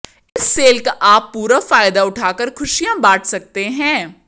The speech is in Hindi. इस सेल का आप पूरा फायदा उठा कर खुशिया बाट सकते है